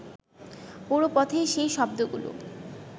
পুরো পথেই সেই শব্দগুলো